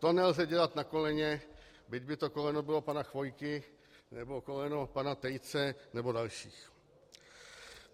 To nelze dělat na koleně, byť by to koleno bylo pana Chvojky nebo koleno pana Tejce nebo dalších.